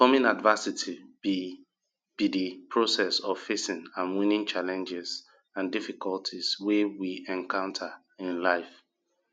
overcoming adversity be be di process of facing and winning challenges and difficulties wey we encounter in life